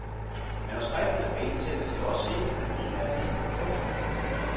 Manuskripterne skal indsendes til os senest den niende april. punktum